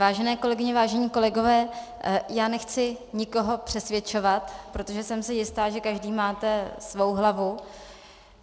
Vážené kolegyně, vážení kolegové, já nechci nikoho přesvědčovat, protože jsem si jista, že každý máte svou hlavu.